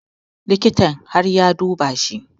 Likitan har ya duba shi